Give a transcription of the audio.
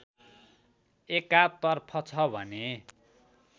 एकातर्फ छ भने